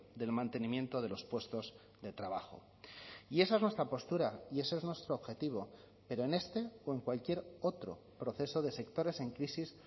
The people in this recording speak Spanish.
del mantenimiento de los puestos de trabajo y esa es nuestra postura y ese es nuestro objetivo pero en este o en cualquier otro proceso de sectores en crisis